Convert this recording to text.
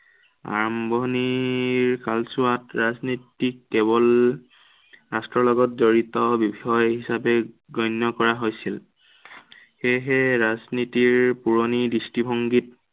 আৰম্ভণিৰ কালছোৱাত ৰাজনীতিক কেৱল ৰাষ্টৰ্ৰ লগত জড়িত বিষয় হিচাপে গণ্য় কৰা হৈছিল। সেয়েহে ৰাজনীতিৰ পুৰনি দৃষ্টিভংগীত